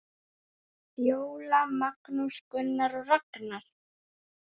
Fjóla, Magnús, Gunnar og Ragnar.